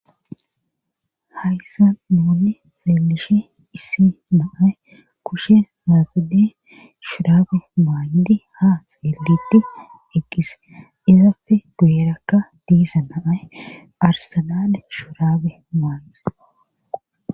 hayssa nuunni xeelishe issi naay kushe zaasude shuraabe maaydi ha xeelidhi eqqise izapfe guyerakka diisa naay arsannale shuraabe mayis